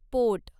पोट